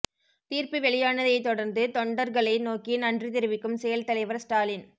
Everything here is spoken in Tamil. தீர்ப்பு வெளியானதை தொடர்ந்து தொண்டர்களை நோக்கி நன்றி தெரிவிக்கும் செயல் தலைவர் ஸ்டாலின்